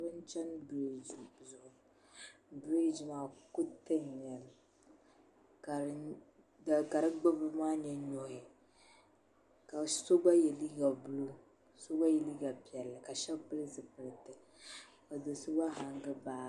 Bihi n-chani biriiji zuɣu biriiji maa kuriti n-nyɛ li ka di ɡbubbu maa nyɛ nuhi ka so ɡba ye liiɡa buluu so ɡba ye liiɡa piɛlli ka shɛba pili zipiliti ka do' so ɡba haŋɡi baaɡi